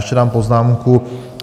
Ještě dám poznámku.